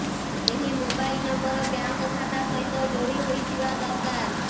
ଏହି mobile number bank ଖାତା ସହିତ ଯୋଡି ହୋଇଥିବା ଦରକାର